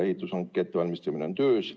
Ehitushanke ettevalmistamine on töös.